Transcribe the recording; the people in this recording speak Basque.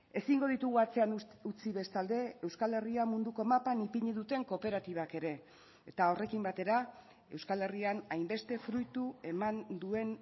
ezingo ditugu atzean utzi bestalde euskal herria munduko mapan ipini duten kooperatibak ere eta horrekin batera euskal herrian hainbeste fruitu eman duen